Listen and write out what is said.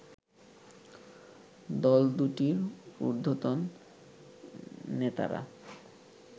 দল দুটির উর্ধতন নেতারা